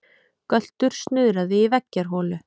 Göltur snuðraði í veggjarholu.